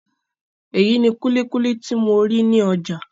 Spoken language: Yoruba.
Eyi ni kulikuli ti mo ri ni ọjà.